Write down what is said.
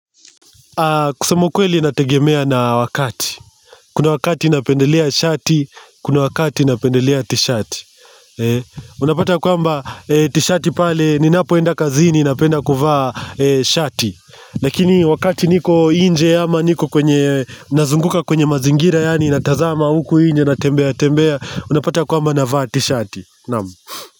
Kusema ukweli inategemea na wakati kuna wakati napendelea shati kuna wakati napendelea tishati. Unapata yakwamba tishati pale ninapoenda kazini napenda kuvaa shati. Lakini wakati niko inje ama niko kwenye nazunguka kwenye mazingira yani natazama huku inje natembea tembea. Unapata kwamba navaa tishati. Naam.